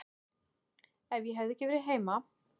Ef ég hefði ekki verið heima.